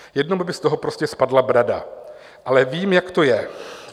Jednomu by z toho prostě spadla brada, ale vím, jak to je.